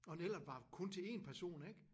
Og en Ellert var kun til én person ik?